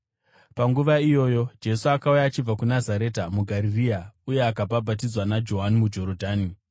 Panguva iyoyo Jesu akauya achibva kuNazareta muGarirea uye akabhabhatidzwa naJohani muJorodhani.